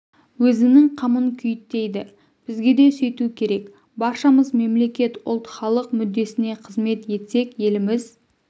өзінің қамын күйттейді бізге де сөйту керек баршамыз мемлекет ұлт халық мүддесіне қызмет етсек еліміз